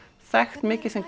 þekkt mikið sem